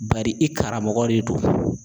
Bari i karamɔgɔ de don